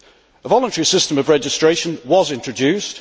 A voluntary system of registration was introduced